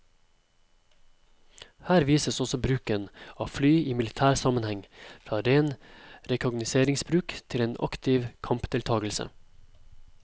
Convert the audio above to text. Her vises også bruken av fly i militær sammenheng, fra ren rekognoseringsbruk til en aktiv kampdeltagelse.